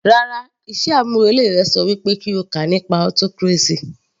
Rárá, iṣẹ́ àmúrelé rẹ ṣọ wí pé kí o kà nípa autocracy